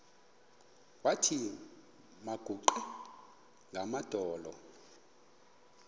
wathi makaguqe ngamadolo